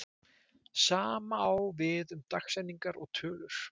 Sama á við um dagsetningar og tölur.